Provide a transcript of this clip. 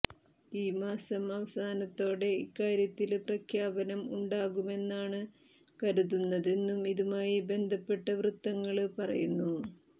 ഈ മാസം അവസാനത്തോടെ ഇക്കാര്യത്തില് പ്രഖ്യാപനം ഉണ്ടാകുമെന്നാണ് കരുതുന്നതെന്നും ഇതുമായി ബന്ധപ്പെട്ട വൃത്തങ്ങള് പറയുന്നു